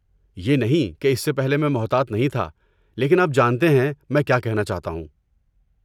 یہ نہیں کہ اس سے پہلے میں محتاط نہیں تھا لیکن آپ جانتے ہیں میں کیا کہنا چاہتا ہوں۔